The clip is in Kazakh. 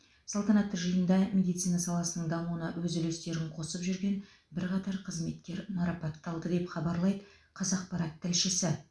салтанатты жиында медицина саласының дамуына өз үлестерін қосып жүрген бірқатар қызметкер марапатталды деп хабарлайды қазақпарат тілшісі